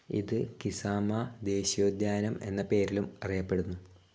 ഇത് കിസാമ ദേശീയോദ്യാനം എന്ന പേരിലും അറിയപ്പെടുന്നു.